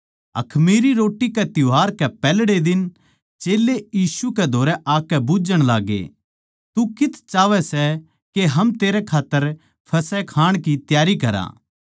अखमीरी रोट्टी कै त्यौहार कै पैहल्ड़े दिन चेल्लें यीशु कै धोरै आकै बुझ्झण लाग्गे तू कित्त चाहवै सै के हम तेरै खात्तर फसह खाण की त्यारी करा